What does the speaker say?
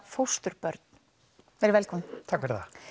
fósturbörn verið velkomin takk